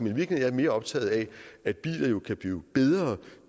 i virkeligheden mere optaget af at biler jo kan blive bedre